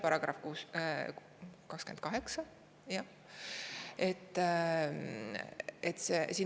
See on §-s 28.